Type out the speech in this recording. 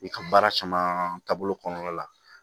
I ka baara caman taabolo kɔnɔna la